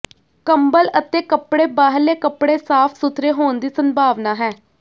ਕੰਬਲ ਅਤੇ ਕਪੜੇ ਬਾਹਰਲੇ ਕੱਪੜੇ ਸਾਫ਼ ਸੁਥਰੇ ਹੋਣ ਦੀ ਸੰਭਾਵਨਾ ਹੈ